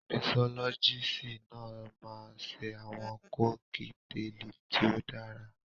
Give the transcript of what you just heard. Misọ́lọ́gíìsì náà máa ń ṣe àwọn kọ́kíteèlì tí ó dára.